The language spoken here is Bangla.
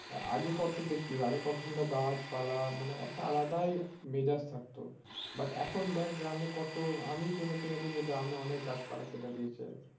আগে কত দেকতিস আগে কত সুন্দর গাছ পালা মানে একটা আলাদাই মেজাজ থাকতো but এখন দেখ গ্রামে কত আমি শুনেছি নাকি যে গ্রামে অনেক গাছ পালা কেটে